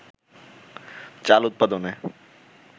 চাল উৎপাদনে